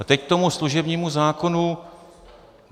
A teď k tomu služebnímu zákonu.